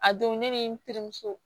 A don ne ni n terimuso